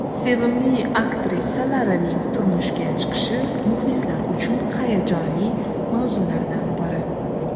Sevimli aktrisalarining turmushga chiqishi muxlislar uchun hayajonli mavzulardan biri.